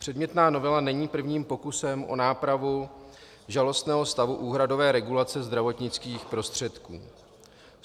Předmětná novela není prvním pokusem o nápravu žalostného stavu úhradové regulace zdravotnických prostředků.